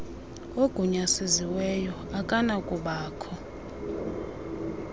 ugunyazisiweyo akanakuba kho